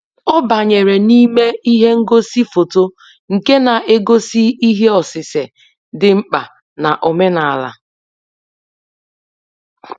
Ọ banyere n'ime ihe ngosi foto nke na-egosi ihe osise dị mkpa na-omenala.